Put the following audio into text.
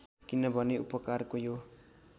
किनभने उपकारको यो